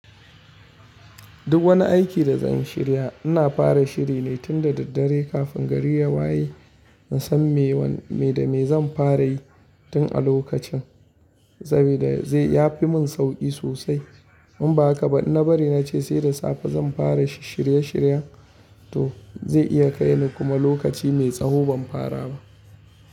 Duk wani aiki da zan shirya ina fara shiri ne tun da daddare kafin gari ya waye. In san me da me zan fara yi tun a lokacin saboda ya fi mun sauki sosai. In ba haka ba in na bari nace sai da safe zan fara shirye shiryen to zai iya kai ni kuma lokaci mai tsawo ban fara ba.